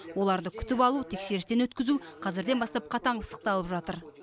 оларды күтіп алу тексерістен өткізу қазірден бастап қатаң пысықталып жатыр